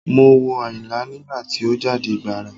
Mo wo Àyìnlá nígbà tí ó jáde gbàrà.